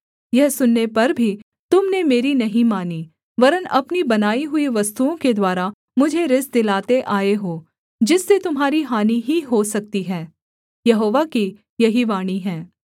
यह सुनने पर भी तुम ने मेरी नहीं मानी वरन् अपनी बनाई हुई वस्तुओं के द्वारा मुझे रिस दिलाते आए हो जिससे तुम्हारी हानि ही हो सकती है यहोवा की यही वाणी है